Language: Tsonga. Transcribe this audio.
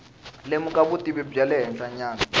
lemuka vutivi bya le henhlanyana